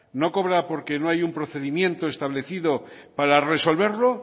no cobran porque no hay un procedimiento establecido para resolverlo